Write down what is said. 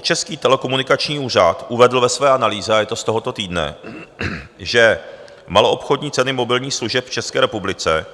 Český telekomunikační úřad uvedl ve své analýze, a je to z tohoto týdne, že maloobchodní ceny mobilních služeb v České republice